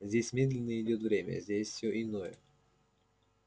здесь медленнее идёт время здесь все иное